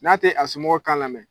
N'a tɛ a somɔgɔw kan lamɛn.